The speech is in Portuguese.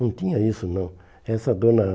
Não tinha isso, não. Essa dona